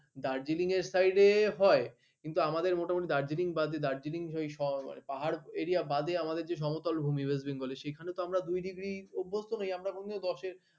দার্জিলিং এর side এ হয় কিন্তু আমাদের মোটামুটি দার্জিলিং বাদে দার্জিলিং হয়ে সব পাহাড় এরিয়া বাদে আমাদের যে সমতল ভূমি রয়েছে west bengal সেখানে তো আমরা দুই ডিগ্রি অভ্যস্থ নেই আমরা মনে হয় দশের